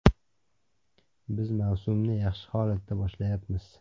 Biz mavsumni yaxshi holatda boshlayapmiz.